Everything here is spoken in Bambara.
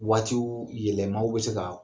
Waatiw yɛlɛmaw bɛ se k'a